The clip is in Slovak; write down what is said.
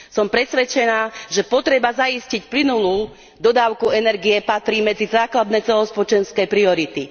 Som presvedčená, že potreba zaistiť plynulú dodávku energie patrí medzi základné celospoločenské priority.